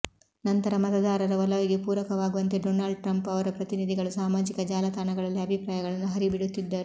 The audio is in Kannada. ನಂತರ ಮತದಾರರ ಒಲವಿಗೆ ಪೂರಕವಾಗುವಂತೆ ಡೊನಾಲ್ಡ್ ಟ್ರಂಪ್ ಅವರ ಪ್ರತಿನಿಧಿಗಳು ಸಾಮಾಜಿಕ ಜಾಲತಾಣಗಳಲ್ಲಿ ಅಭಿಪ್ರಾಯಗಳನ್ನು ಹರಿಬಿಡುತ್ತಿದ್ದರು